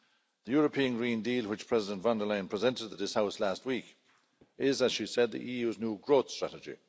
The European Green Deal, which President von der Leyen presented to this House last week, is, as she said, the EU's new growth strategy.